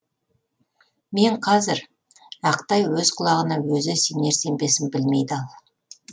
мен қазір ақтай өз құлағына өзі сенер сенбесін білмей дал